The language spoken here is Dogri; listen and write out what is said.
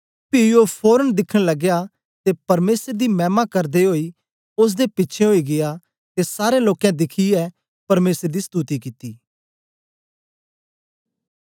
पी ओ फोरन दिखन लगया ते परमेसर दी मैमा करदा ओई ओसदे पिछें ओई गीया ते सारें लोकें दिखियै परमेसर दी स्तुति कित्ती